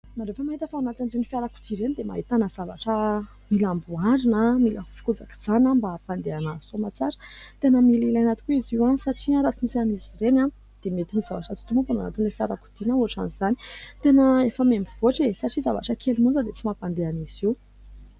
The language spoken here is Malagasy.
Ianareo ve mahita fa ao anatin'ireny fiarakodia ireny dia ahitana zavatra mila amboarina, mila fikojakojana, mba hampandeha anazy soa aman-tsara? Tena mila ilaina tokoa izy io, satria raha tsy misy an'izy ireny dia mety ny zavatra tsy tomombana ao anatin'ny fiarakodia, na ohatran'izany. Tena efa mihamivoatra e ! Satria zavatra kely monja dia tsy mampandeha an'izy io.